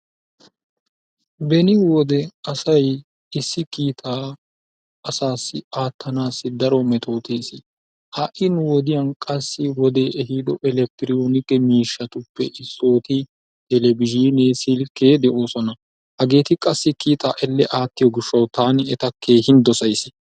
Beni wode asay issi kiitaa asaassi aattanaassi daro metotesi ha'i nu wodiyaan qassi wodee ehiido eleketeroonikke mishshatuppe issooti telebizhinee silkkee de"oosona. Hageeti qassi kiittaa elle aattiyoo giishshawu taani eta keehin doosays.